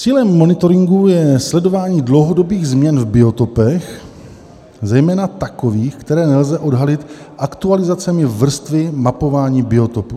Cílem monitoringu je sledování dlouhodobých změn v biotopech, zejména takových, které nelze odhalit aktualizacemi vrstvy mapování biotopů.